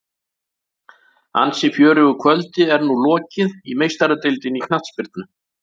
Ansi fjörugu kvöldi er nú lokið í Meistaradeildinni í knattspyrnu.